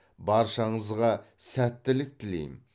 баршаңызға сәттілік тілеймін